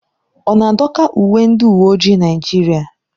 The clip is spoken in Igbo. Ọ na-adọka uwe ndị uwe ojii Naijiria?